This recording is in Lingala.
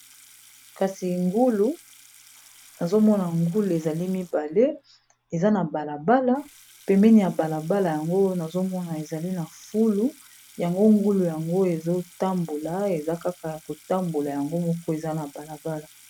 Kasi ngulu nazomona ngulu ezali mibale eza na balabala pemene ya balabala, yango nazomona ezali na fulu yango ngulu yango ezotambola eza kaka ya kotambola yango moko eza na balabala